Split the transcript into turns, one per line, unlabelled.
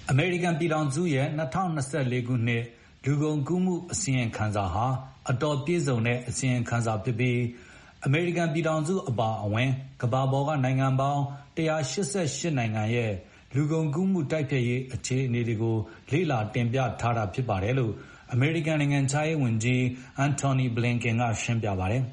အမေရိကန်ပြည်ထောင်စုရဲ့ ၂၀၂၄ ခုနှစ် လူကုန်ကူးမှုအစီရင်ခံစာဟာ အတော်ပြည့်စုံတဲ့အစီရင်ခံစာဖြစ်ပြီး အမေရိကန် ပြည်ထောင်စုအပါအဝင် ကမ္ဘာပေါ်က နိုင်ငံပေါင်း ၁၈၈ နိုင်ငံရဲ့ လူကုန်ကူးမှုတိုက်ဖျက်ရေးအခြေအနေတွေကိုလေ့ လာတင်ပြထားတာဖြစ်ပါတယ်လို့ အမေရိကန်နိုင်ငံခြားရေးဝန်ကြီး
Anotny Blinken ကရှင်းပြပါတယ်